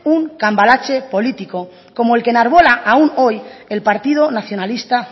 un cambalache político como el que enarbola aún hoy el partido nacionalista